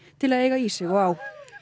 til að eiga í sig og á